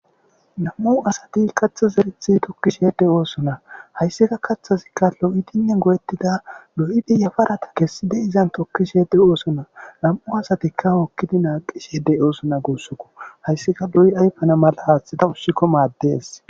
Nam'u asati katha zerethi tokkisheede oosona hayssika kaththasikka lo'itinne go'ettida lo'idi yafarata kessi de izan tokkisheede oosona lam'u asatikka hookkidi naaqi sheedey oosona goossokko hayssika lo'i ayfana mala aaththata ussikko maaddees.